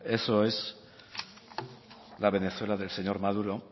eso es la venezuela del señor maduro